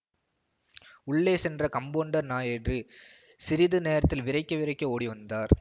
உள்ளே சென்ற கம்பௌண்டர் நாயுடு சிறிது நேரத்தில் விறைக்க விறைக்க ஓடிவந்தார்